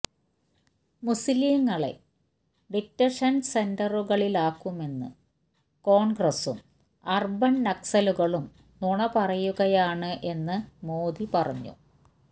മുസ്ലീങ്ങളെ detention സെൻ്ററുകളിലാക്കുമെന്ന് കോൺഗ്രസും urban നക്സലുകളും നുണ പറയുകയാണ് എന്നും മോദി പറഞ്ഞു